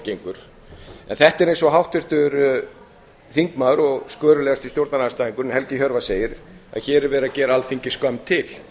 gengur en þetta er eins og háttvirtur þingmaður og skörulegasti stjórnarandstæðingurinn helgi hjörvar segir að hér er verið að gera alþingi skömm til